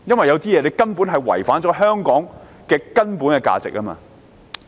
有些事情違反香港的根本價值。